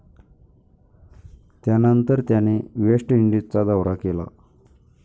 त्यानंतर त्याने वेस्ट इंडिजचा दौरा केला